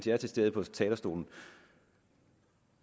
er til stede på talerstolen